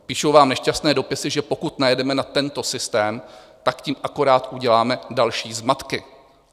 Píšou vám nešťastné dopisy, že pokud najedeme na tento systém, tak tím akorát uděláme další zmatky.